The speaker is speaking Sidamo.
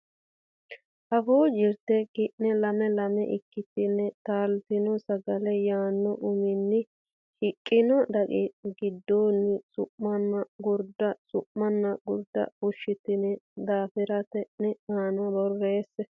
Afuu Jirte ki ne lame lame ikkitine Taaltino Sagale yaanno uminni shiqqino daqiiqa giddonni su manna gurda Su manna Gurda fushshitine daftari ne aana borreesse.